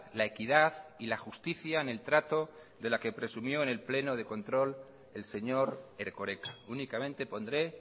la equidad y la justicia en el trato de la que presumió en el pleno de control el señor erkoreka únicamente pondré